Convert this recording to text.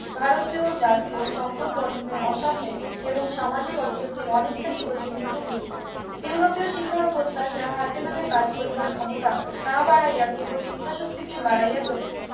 ভারতীয় জাতীয় সম্পদ বন্টনের অসাম্যের এবং সামাজিক অতৃপ্তির অনেকখানি প্রতিবিধানও ঘটিবে ইউরোপীয় শিক্ষা ব্যবস্থা যাহা হাতেনাতে কাজ করিবার ক্ষমতা না বাড়াইয়া কেবল চিন্তাশক্তিকে বাড়াইয়া তোলে